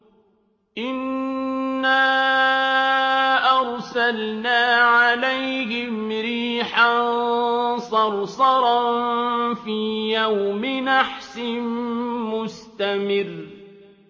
إِنَّا أَرْسَلْنَا عَلَيْهِمْ رِيحًا صَرْصَرًا فِي يَوْمِ نَحْسٍ مُّسْتَمِرٍّ